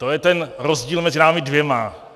To je ten rozdíl mezi námi dvěma.